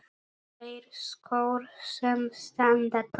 Tveir skór sem standa tómir.